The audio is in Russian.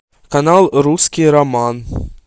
канал русский роман